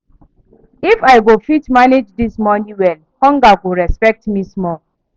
If I go fit manage this money well, hunger go respect me small.